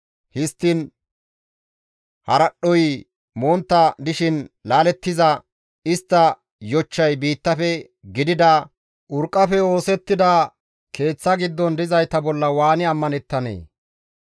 histtiin haradhdhoy montta dishin laalettiza istta yochchay biittafe gidida urqqafe oosettida keeththa giddon dizayta bolla waani ammanettanee?